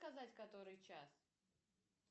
сказать который час